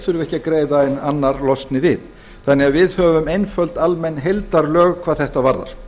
að greiða en annar losni við þannig að við höfum einföld almenn heildarlög hvað þetta varðar